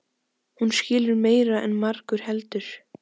Hún skilur meira en margur heldur.